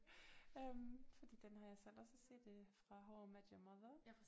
Øh fordi den har jeg selv også set øh fra How I Met Your Mother